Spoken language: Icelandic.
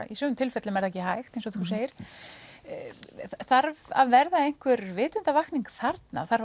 í sumum tilfellum er það ekki hægt eins og þú segir þarf að verða einhver vitundarvakning þarna þarf